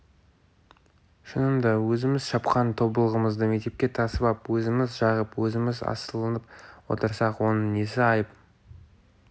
шынында да өзіміз шапқан тобылғымызды мектепке тасып ап өзіміз жағып өзіміз асылынып отырсақ оның несі айып